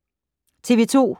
TV 2